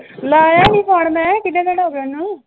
ਲਾਇਆ ਨੀਂ ਫੋਨ ਮੈਂ ਕਿੰਨੇ ਦਿਨ ਹੋ ਗੇ ਉਹਨੂੰ l